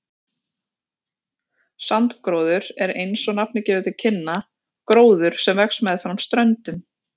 Strandgróður er, eins og nafnið gefur til kynna, gróður sem vex meðfram ströndum.